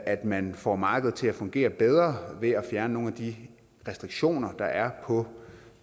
at man får markedet til at fungere bedre ved at fjerne nogle af de restriktioner der er på